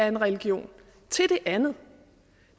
en religion til det andet